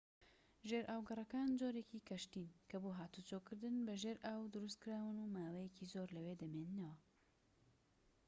ژێرئاوگەڕەکان جۆرێکی کەشتین کە بۆ هاتووچۆکردن بە ژێر ئاو دروستکراون و ماوەیەکی زۆر لەوێ دەمێننەوە